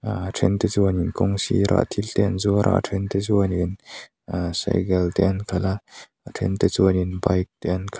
ahh a then te chuanin kawng sira thil te an zuara then te chuanin ahh cycle te an khalha a then te chuanin bike te an khalh.